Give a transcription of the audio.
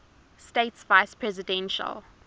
states vice presidential